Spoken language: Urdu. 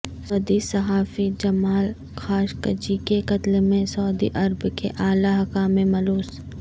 سعودی صحافی جمال خاشقجی کے قتل میں سعودی عرب کے اعلی حکام ملوث